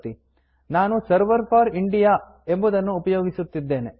ನಾನು server for India server for India ಎಂಬುದನ್ನು ಉಪಯೋಗಿಸುತ್ತಿದ್ದೇನೆ